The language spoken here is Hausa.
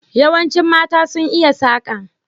Yawanci mata sun iya saka.